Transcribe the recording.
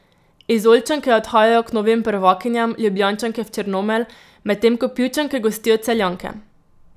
Izolčanke odhajajo k novim prvakinjam, Ljubljančanke v Črnomelj, medtem ko Pivčanke gostijo Celjanke.